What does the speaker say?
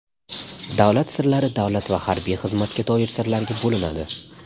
Davlat sirlari davlat va harbiy xizmatga doir sirlarga bo‘linadi.